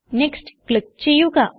next click ചെയ്യുക